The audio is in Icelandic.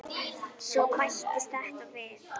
Svo bættist þetta við.